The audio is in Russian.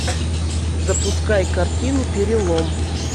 запускай картину перелом